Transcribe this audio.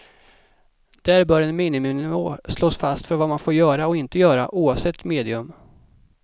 Där bör en miniminivå slås fast för vad man får göra och inte göra, oavsett medium.